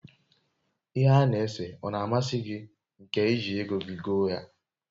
ihe ana ese o na amasi gi nke iji ego gi goo ya?